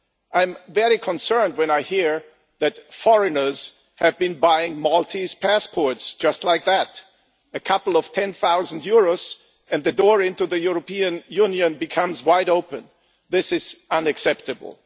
I am very concerned when I hear that foreigners have been buying Maltese passports just like that, a couple of tens of thousands of euros, and the door to the European Union becomes wide open. This is unacceptable.